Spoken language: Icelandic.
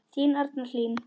Þín Arna Hlín.